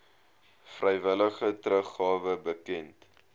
vrywillige teruggawe bekend